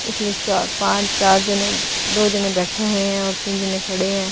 इसमें चार पांच चार जने दो जने बैठे हुए हैं और तीन जने खड़े हैं।